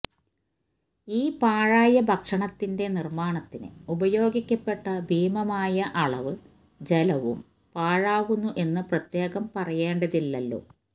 ഈ പാഴായ ഭക്ഷണത്തിന്റെ നിർമ്മാണത്തിന് ഉപയോഗിക്കപ്പെട്ട ഭീമമായ അളവ് ജലവും പാഴാവുന്നു എന്ന് പ്രത്യേകം പറയേണ്ടതില്ലല്ലോ